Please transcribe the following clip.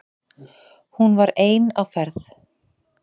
Hún var ein á ferð.